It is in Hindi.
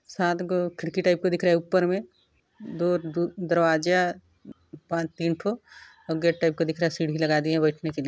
सात गो खिड़की टाइप का दिख रहा है ऊपर में दो दू दरवाजा पांच तीन ठो और गेट टाइप का दिख रहा है सीढ़ी लगा दिया है बैठने के लिए--